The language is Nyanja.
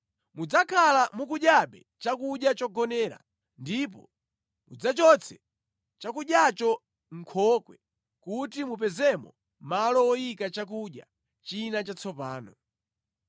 Mudzakhala mukudyabe chakudya chogonera ndipo mudzachotse chakudyacho mʼnkhokwe kuti mupezemo malo woyika chakudya china chatsopano.